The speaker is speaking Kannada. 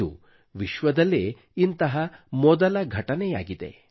ಇದು ವಿಶ್ವದಲ್ಲೇ ಇಂತಹ ಮೊದಲ ಘಟನೆಯಾಗಿದೆ